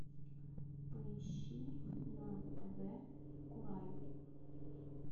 поищи на тв курай